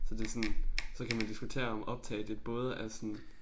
Så det sådan så kan man diskutere om optage det både er sådan